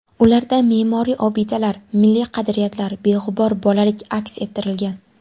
Ularda me’moriy obidalar, milliy qadriyatlar, beg‘ubor bolalik aks ettirilgan.